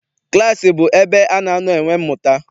Klaasị bụ ebe ana anọ enwe mmụta.